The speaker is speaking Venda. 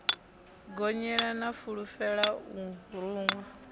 gonyela na fulela o ruṅwa